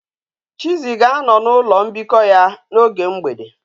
Chizzy ga a no na ulo mbiko ya na oge mgbede